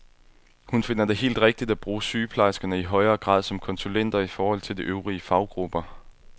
Hun finder det helt rigtigt at bruge sygeplejerskerne i højere grad som konsulenter i forhold til de øvrige faggrupper.